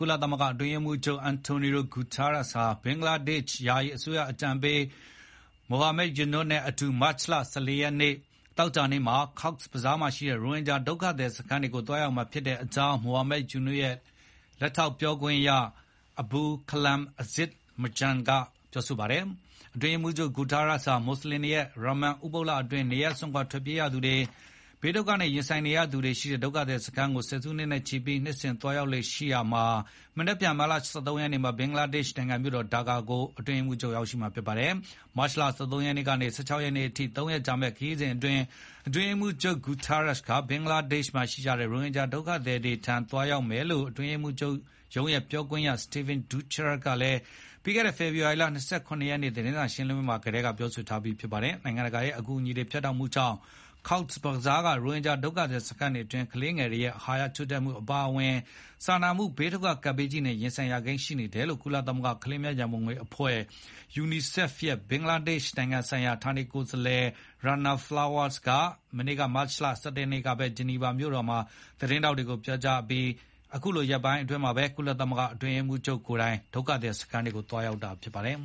လသမဂ္ဂ အတွင်းရေးမှုးချုပ် António Guterres ဟာ ဘင်္ဂလားဒေ့ရှ် ယာယီအစိုးရ အကြံပေး Muhammad Yunus နဲ့အတူ မတ်လ ၁၄ ရက်၊ သောကြာနေ့မှာ Cox’s Bazar မှာရှိတဲ့ ရိုဟင်ဂျာဒုက္ခသည်စခန်းတွေကို သွားရောက်မှာဖြစ်ကြောင်း Muhammad Yunus ရဲ့ လက်ထောက် ပြောခွင့်ရ Abul Kalam Azad Majumder က ပြောပါတယ်။ အတွင်းရေးမှူးချုပ် Guterres ဟာ မွတ်ဆလင်တွေရဲ့ ရာမာဒန်ဥပုသ်လအတွင်း နေရပ်စွန့်ခွာ ထွက်ပြေးရသူတွေ၊ ဘေးဒုက္ခတွေနဲ့ ရင်ဆိုင်နေရသူတွေရှိတဲ့ ဒုက္ခသည်စခန်းတွေကို ဆယ်စုနှစ်နဲ့ချီပြီး နှစ်စဉ် သွားရောက်လေ့ရှိတာမှာ မနက်ဖြန် မတ်လ ၁၃ ရက်နေ့မှာ ဘင်္ဂလားဒေ့ရှ်နိုင်ငံမြို့တော် ဒါကာကို ရောက်ရှိမှာ ဖြစ်ပါတယ်။ မတ်လ ၁၃ ရက်ကနေ ရက်ကနေ ၁၆ ရက်အထိ ၃ ရက်ကြာမယ့် ဒီခရီးစဉ်အတွင်း အတွင်းရေးမှူးချုပ် Guterres ဟာ ဘင်္ဂလားဒေ့ရှ်မှာ ရှိနေကြတဲ့ ရိုဟင်ဂျာဒုက္ခသည်တွေကို သွားရောက် အတွင်းရေးမှူးချုပ်ရုံး ပြောခွင့်ရ Stephane Dujarric က ပြီးခဲ့တဲ့ ဖေဖော်ဝါရီ ၂၇ ရက်နေ့မှာ ကျင်းပတဲ့ ပုံမှန် သတင်းစာရှင်းလင်းပွဲအတွင်း ပြောကြားထားပြီး ဖြစ်ပါတယ်။ နိုင်ငံတကာရဲ့ အကူအညီတွေ ဖြတ်တောက်မှုကြောင့် Cox’s Bazar က ရိုဟင်ဂျာဒုက္ခသည်စခန်းတွေအတွင်း ကလေးငယ်တွေ အဟာရ ချို့တဲ့မှု အပါအဝင် စာနာမှုဘေးဒုက္ခ ကပ်ဘေးကြီးနဲ့ ရင်ဆိုင်ရကိန်းရှိနေတယ်လို့ ကုလသမဂ္ဂကလေးများရံပုံငွေအဖွဲ့ (UNICEF) ရဲ့ ဘင်္ဂလားဒေ့ရှ်နိုင်ငံဆိုင်ရာ ဌာနေကိုယ်စားလှယ် Rana Flowers က မနေ့ မတ်လ ၁၁ ရက်နေ့ကဘဲ ဂျနီဗာမြို့မှာ သတင်းထောက်တွေကို ပြောကြားအပြီး ရက်ပိုင်းအတွင်း ကုလ အတွင်းရေးမှူးချုပ်ကိုယ်တိုင် အဲဒီ ဒုက္ခသည်စခန်းတွေကို သွားရောက်မှာ ဖြစ်ပါတယ်